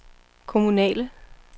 kommunale